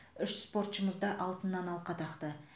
үш спортшымыз да алтыннан алқа тақты